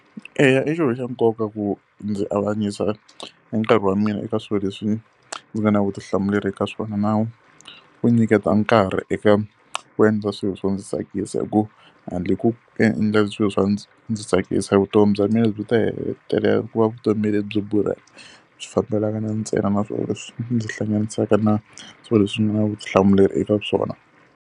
Eya i xilo xa nkoka ku ndzi avanyisa e nkarhi wa mina eka swilo leswi ndzi nga na vutihlamuleri ka swona na ku nyiketa nkarhi eka ku endla swilo swo ndzi tsakisa. Hikuva handle ko ku endla swilo swa ndzi tsakisa vutomi bya mina byi ta hetelela ku va vutomi lebyi borhaka. Swi fambelana na ntsena na swilo leswi ndzi hlanganisaka na swilo leswi ni nga na vutihlamuleri eka swona.